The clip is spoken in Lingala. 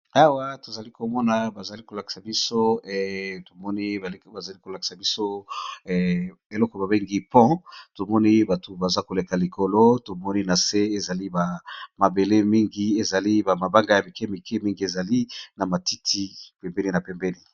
Awa, tozali komona tozo mona baza kolakisa biso eloko babengi pon. Tomoni bato baza koleka likolo. Tomoni na se, ezali bamabele mingi. Ezali bama banga ya mike mike mingi. Ezali na matiti pembeni na pembeni.